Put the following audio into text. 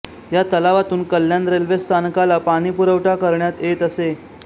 या तलावातून कल्याण रेल्वे स्थानकाला पाणीपुरवठा करण्यात येत असे